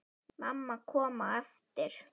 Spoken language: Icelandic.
Mamma kom á eftir.